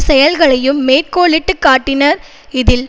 செயல்களையும் மேற்கோளிட்டு காட்டினார் இதில்